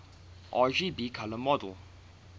rgb color model